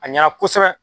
A ɲɛna kosɛbɛ